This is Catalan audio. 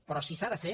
però si s’ha de fer